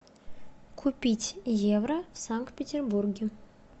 купить евро в санкт петербурге